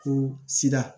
Ko sira